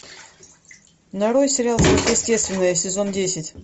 нарой сериал сверхъестественное сезон десять